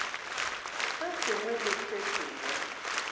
se sengwe le se sengwe